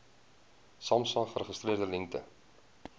samsa geregistreerde lengte